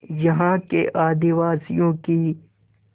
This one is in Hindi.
यहाँ के आदिवासियों की